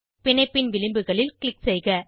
பிணைப்பின் விளிம்புகளில் க்ளிக் செய்க